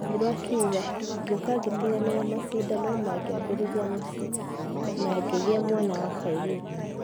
Wanjiru akĩuga "Gĩuka gitigana na mashidano na ngiambirĩria muciĩ, na ngegea mwana wa kairĩtu."